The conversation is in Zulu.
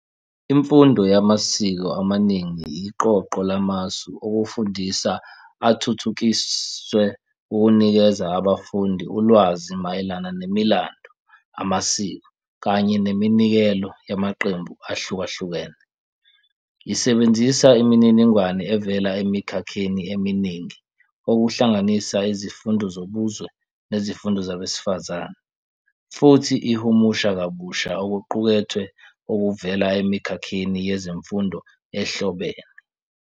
Imfundo yamasiko amaningi iqoqo lamasu okufundisa athuthukiswe ukunikeza abafundi ulwazi mayelana nemilando, amasiko, kanye neminikelo yamaqembu ahlukahlukene. Isebenzisa imininingwane evela emikhakheni eminingi, okuhlanganisa izifundo zobuzwe nezifundo zabesifazane, futhi ihumusha kabusha okuqukethwe okuvela emikhakheni yezemfundo ehlobene.